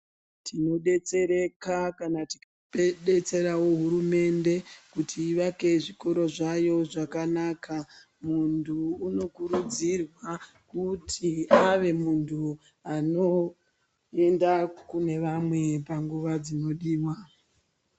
Tino detsereka kana tika detserawo hurumende kuti ivake zvikoro zvayo zvakanaka muntu uno kurudzirwa kuti ave muntu ano enda kune vamwe panguva dzino diwa.